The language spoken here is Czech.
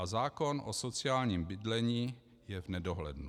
A zákon o sociálním bydlení je v nedohlednu.